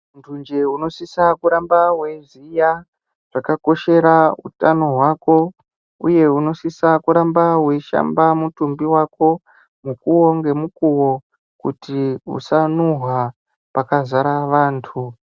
Muntu nje unosise kuramba weiziya zvakakoshera utano hwako uye unosisa kuramba weishamba mutumbi wako mukuwo ngemukuwo kuti usanuhwa pakazara vantu .